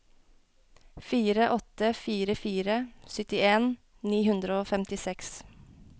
fire åtte fire fire syttien ni hundre og femtiseks